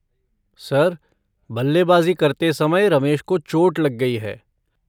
Sir बल्लेबाज़ी करते समय रमेश को चोट लग गई है।